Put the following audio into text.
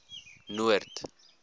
noord